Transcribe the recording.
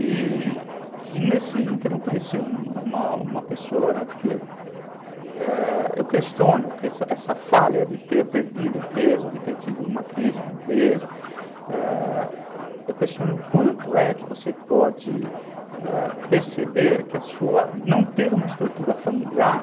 E nesse inter eu conheci uma uma uma pessoa, né, porque eu questiono essa falha de ter perdido a empresa, de ter tido uma crise na empresa, eu questiono o quanto é que você pode, é, perceber que não ter uma estrutura familiar,